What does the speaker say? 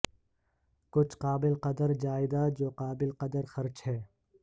کچھ قابل قدر جائیداد جو قابل قدر خرچ ہے